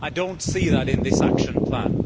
I do not see that in this action plan.